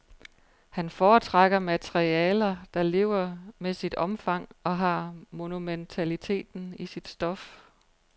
Han foretrækker materialer, der lever med sit omfang og har monumentaliteten i sit stof.